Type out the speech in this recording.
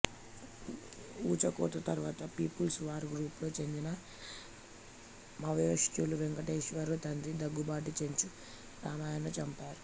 ఊచకోత తరువాత people's war గ్రూపుకు చెందిన మావోయిస్టులు వెంకటేశ్వరరావు తండ్రి దగ్గుబాటి చెంచు రామయ్యను చంపారు